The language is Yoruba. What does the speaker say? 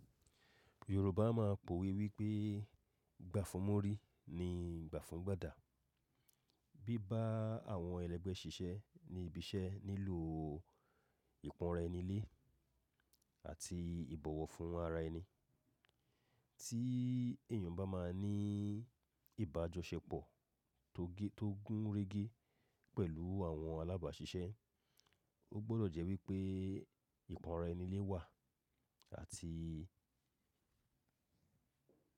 Yorùbá máa ń p'òwe wípé “gbà fún múrí, ni gbà fún gbàdà”. Bí bá àwọn ẹlẹ́gbẹ́ ṣiṣẹ́ ní ibi iṣẹ́ nílò ìpọ́nra ẹni lé àti ìbọ̀wọ̀ fún ara ẹni. Tí èèyàn bá máa ní ìbájọ ṣe pọ̀ tó gé tó gún régé pẹ̀lú àwọn alábàáṣiṣẹ́, ó gbọ́dọ̀ jẹ́ wípé ìpọ́nra ẹni lé wà àti.